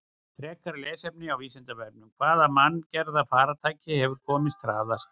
Frekara lesefni af Vísindavefnum: Hvaða manngerða farartæki hefur komist hraðast?